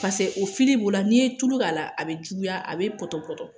o b'o la n'i ye tulu k'a la a bɛ juguya a bɛ pɔtɔpɔtɔ